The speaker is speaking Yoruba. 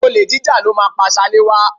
Olè jíjà ló máa pá Ṣaléwá